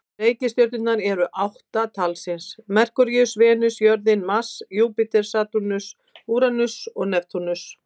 Reikistjörnurnar eru því átta talsins: Merkúríus, Venus, jörðin, Mars, Júpíter, Satúrnus, Úranus og Neptúnus.